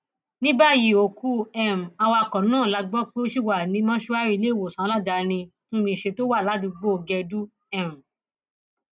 ní báyìí òkú um awakọ náà la gbọ pé ó ṣì wà ní mọṣúárì iléewòsàn aládàáni túnmíṣe tó wà ládùúgbò gẹdú um